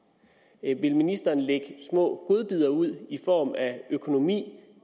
vil ministeren lægge små godbidder ud i form af økonomi